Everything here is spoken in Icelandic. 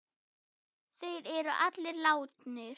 Þeir eru allir látnir.